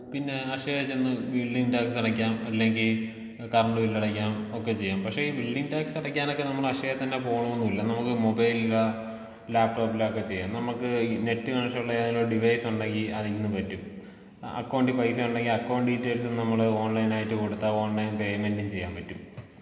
പിന്നെ അക്ഷയ ചെന്ന് building tax അടക്കാം അല്ലെങ്കി കറണ്ട് ബില്ല് അടക്കാം ഒക്കെ ചെയ്യാം പക്ഷേ ഈ ബിൽഡിംഗ് ടാക്സടക്കാനൊക്കെ നമ്മള് അക്ഷയ തന്നെ പോണംന്നില്ല നമുക്കു മൊബൈലിലോ ലാപ്ടോപ്പിലോ ഒക്കെ ചെയ്യാം നമുക്ക് നെറ്റ് കണക്ഷനുള്ള ഡിവൈസുണ്ടെങ്കിൽ അതിന്ന് പറ്റും ആ അക്കൗണ്ട് പൈസ ഉണ്ടെങ്കി അക്കൗണ്ട് ഡീറ്റെയിൽസ് നമ്മള് ഓൺലൈനായിട്ട് കൊടുത്ത ഓൺലൈൻ പേയ്മെന്റും ചെയ്യാൻ പറ്റും.